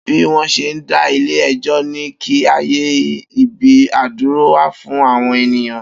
Bi wón se da ile ejo ni kí ayé ibi iduro wa fún àwọn ènìyàn